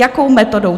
Jakou metodou?